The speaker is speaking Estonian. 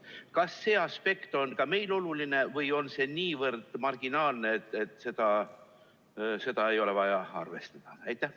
Kas see aspekt on ka meil oluline või on see nii marginaalne kasu, et seda ei ole vaja arvestada?